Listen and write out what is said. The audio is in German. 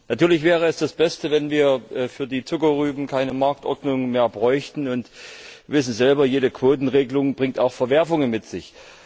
Natürlich wäre es das Beste, wenn wir für die Zuckerrüben keine Marktordnung mehr bräuchten. Sie wissen selbst, jede Quotenregelung bringt auch Verwerfungen mit sich.